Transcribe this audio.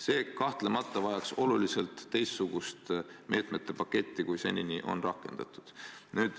See kahtlemata vajaks oluliselt teistsugust meetmete paketti, kui senini on rakendatud.